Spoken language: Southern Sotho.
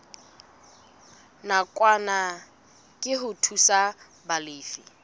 nakwana ke ho thusa balefi